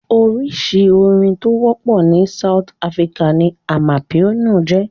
Oríṣi orin tó wọ́pọ̀ ní South Africa ni amapiano jẹ́.